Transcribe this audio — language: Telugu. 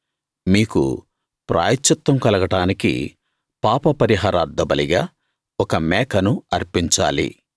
మీకు ప్రాయశ్చిత్తం కలగడానికి పాపపరిహారార్థబలిగా ఒక మేకను అర్పించాలి